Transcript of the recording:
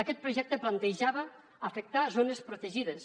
aquest projecte plantejava afectar zones protegides